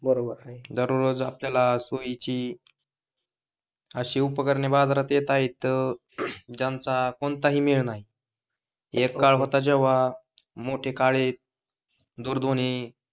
बरोबर आहे, दररोज आपल्याला सोयीची अशी उपकरणे बाजारात येत आहेत ज्यांचा कोणताही मेळ नाही. एक काळ होता जेव्हा मोठे काळे दूरध्वनी,